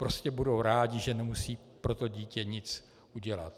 Prostě budou rádi, že nemusí pro to dítě nic udělat.